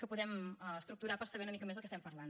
que els podem estructurar per saber una mica més de què estem parlant